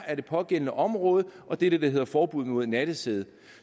af det pågældende område og det er det der hedder forbud mod nattesæde